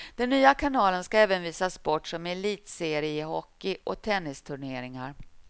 Den nya kanalen ska även visa sport som elitseriehockey och tennisturneringar.